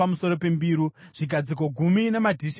zvigadziko gumi namadhishi azvo gumi;